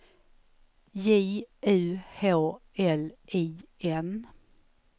J U H L I N